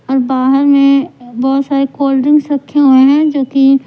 और बाहर में बहुत सारे कोल्ड ड्रिंक्स हुए हैं जो कि--